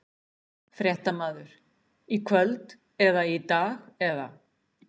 Fréttamaður: Í kvöld eða í dag eða?